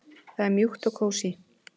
Það er mjúkt og kósí.